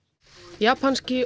japanski